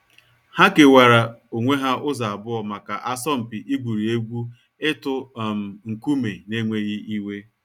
Ha kewaara onwe ha ụzọ abụọ maka asọmpi igwuri egwu ịtụ um nkume n’enweghị iwe.